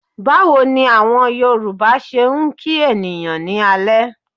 Báwo ni àwọn Yorùbá ṣe ń kí ènìyàn ní alẹ́?